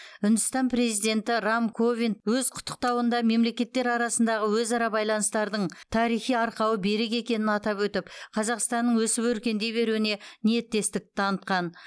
үндістан президенті рам нат ковинд өз құттықтауында мемлекеттер арасындағы өзара байланыстардың тарихи арқауы берік екенін атап өтіп қазақстанның өсіп өркендей беруіне ниеттестік танытқан